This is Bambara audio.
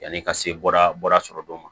Yanni ka se bɔra sɔrɔ dɔ ma